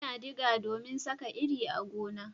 Muna diga domin Saka iri a gona